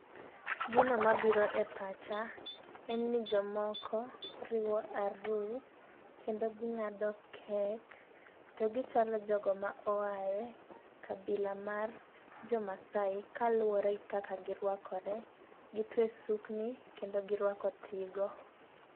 Gino mabiro e pacha en ni jomoko riwo arus kendo ging'ado kek. To gichalo jogo ma oaye kabila mar jo masai kaluwore gi kaka girwakore, gitwe sukni kendo girwako tigo.